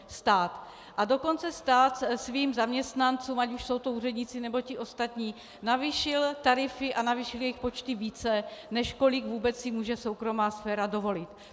A dokonce stát svým zaměstnancům, ať už jsou to úředníci, nebo ti ostatní, navýšil tarify a navýšil jejich počty více, než kolik vůbec si může soukromá sféra dovolit.